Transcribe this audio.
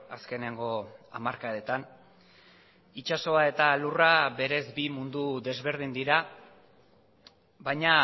azkeneko hamarkadetan itsasoa eta lurra berez bi mundu desberdin dira baina